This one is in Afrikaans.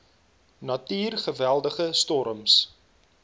natuur geweldige storms